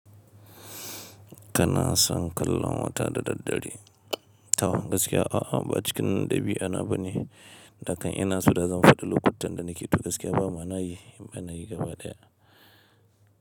Kana son kallon wata da daddare? To gaskiya a'a, ba cikin ɗabi'a na bane. Dakan ina so, da zan faɗi lokutan da nake tu gaskiya ba ma nayi, ba nayi gaba ɗaya.